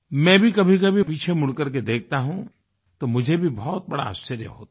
मैं भी कभीकभी पीछे मुड़कर के देखता हूँ तो मुझे भी बहुत बड़ा आश्चर्य होता है